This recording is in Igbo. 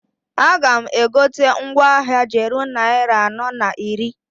A ga m egote mgwa ahịa g'eru nnarị anọọ na iri.